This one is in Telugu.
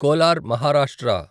కోలార్ మహారాష్ట్ర